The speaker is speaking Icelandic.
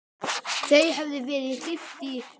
Þau höfðu verið gift í